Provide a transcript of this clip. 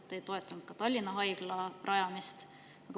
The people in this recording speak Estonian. Te ei toetanud ka Tallinna Haigla rajamist.